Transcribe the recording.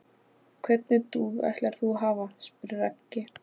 Hvernig dúfu ætlar þú að hafa? spyr Raggi.